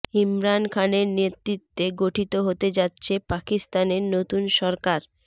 ইমরান খানের নেতৃত্বে গঠিত হতে যাচ্ছে পাকিস্তানের নতুন সরকার